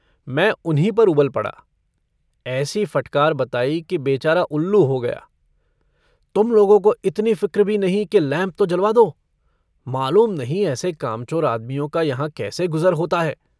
मै उन्हीं पर उबल पड़ा। ऐसी फ़टकार बताई कि बेचारा उल्लू हो गया। तुम लोगों को इतनी फ़िक्र भी नहीं कि लैम्प तो जलवा दो। मालूम नहीं ऐसे कामचोर आदमियों का यहाँ कैसे गुज़र होता है।